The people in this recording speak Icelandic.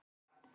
Æsa